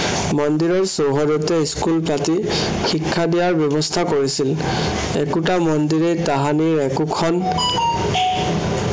মন্দিৰৰ চৌহদতে school পাতি শিক্ষা দিয়াৰ ব্য়ৱস্থা কৰিছিল। একোটা মন্দিৰেই তাহানিৰ একোখন